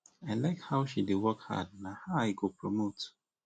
i like how she dey work hard na her i go promote